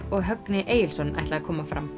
og Högni Egilsson ætla að koma fram